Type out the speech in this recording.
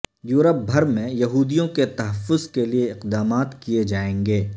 Europe بھر میں یہودیوں کے تحفظ کے لیے اقدامات کیے جائیں گے